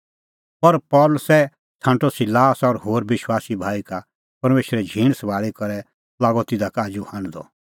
पर पल़सी छ़ांटअ सिलास और होर विश्वासी भाई का परमेशरे झींण सभाल़ी करै लागअ तिधा का आजू हांढदअ